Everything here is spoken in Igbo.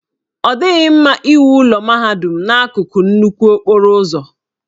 Ọ dịghị mma iwu ụlọ mahadum n'akụkụ nnukwu okporo ụzọ.